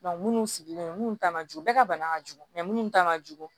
minnu sigilen minnu ta man jugu bɛɛ ka bana ka jugu mɛ minnu ta man jugu